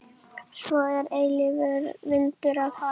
Svo er eilífur vindur af hafi.